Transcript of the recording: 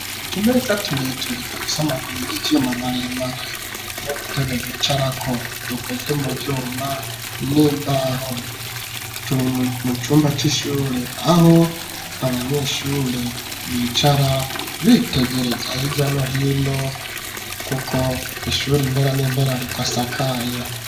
Utumeza tureture dufise amaguru y'ivyuma maremare n'udutebe bicarako, dukoze mu vyuma n'imbaho. Turi mu cumba c'ishure, aho abanyeshure bicara, bitegereza hirya no hino kuko ishure impera n'impera ridasakaye.